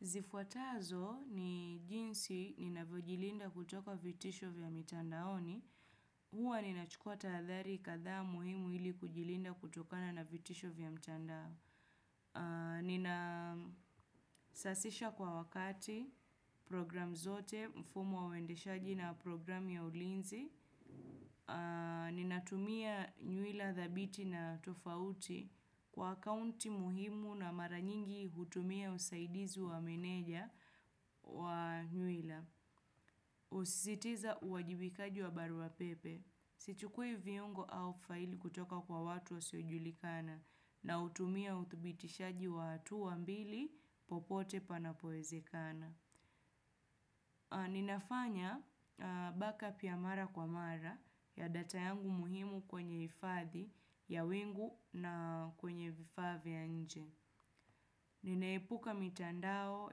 Zifuatazo ni jinsi ninavyojilinda kutoka vitisho vya mitandaoni. Huwa ninachukua tahadhari kadhaa muhimu ili kujilinda kutokana na vitisho vya mtandao. Ninasasisha kwa wakati program zote mfumo wa uendeshaji na programu ya ulinzi. Ninatumia nywila dhabiti na tofauti kwa akaunti muhimu na mara nyingi hutumia usaidizi wa meneja. Wa nywila. Husisitiza uajibikaji wa barua pepe. Sichukui viungo au faili kutoka kwa watu wasiojulikana na hutumia uthibitishaji wa hatua mbili popote panapoezekana. Ninafanya backup ya mara kwa mara ya data yangu muhimu kwenye hifadhi ya wingu na kwenye vifaa vya nje. Ninaepuka mitandao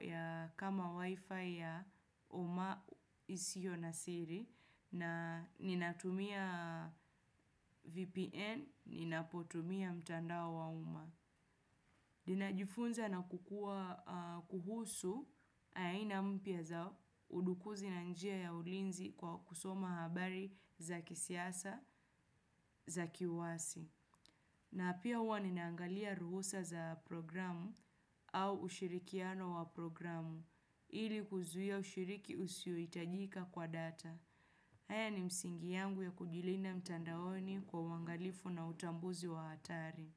ya kama wifi ya umma isiyo na siri na ninatumia VPN, ninapotumia mtandao wa umma. Ninajifunza na kukuwa kuhusu, aina mpya za udukuzi na njia ya ulinzi kwa kusoma habari za kisiasa, za kiwasi. Na pia huwa ninaangalia ruhusa za programu au ushirikiano wa programu ili kuzuia ushiriki usiohitajika kwa data. Haya ni msingi yangu ya kujilinda mtandaoni kwa uangalifu na utambuzi wa hatari.